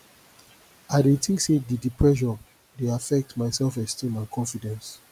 i dey think say di di pressure dey affect my selfesteem and confidence